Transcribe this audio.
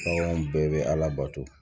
Bɛɛ bɛ ala bato